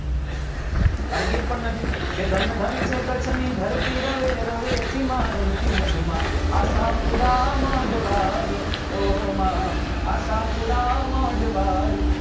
અને ગીત પણ નથી કે ધન ધન છે કચ્છ ની ધરતી રવે રવેચી માં રવેચી માં રમતી મઢ માં આશાપુરા મઢ વાળી હો માં આશાપુરા મઢ વાળી એ